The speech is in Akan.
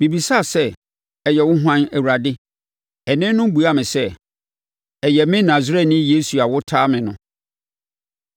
“Mebisaa sɛ, ‘Ɛyɛ wo hwan, Awurade?’ “Ɛnne no buaa me sɛ, ‘Ɛyɛ me Nasareni Yesu a wotaa me no.’